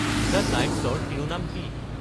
the টাইম্ছৰ শিৰোনাম কি